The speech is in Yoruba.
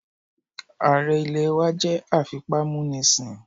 Ààrẹ ilẹ̀ wá jẹ́ afipámúnisìn